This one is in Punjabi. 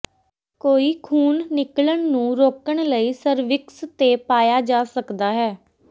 ਕੋਈ ਖੂਨ ਨਿਕਲਣ ਨੂੰ ਰੋਕਣ ਲਈ ਸਰਵਿਕਸ ਤੇ ਪਾਇਆ ਜਾ ਸਕਦਾ ਹੈ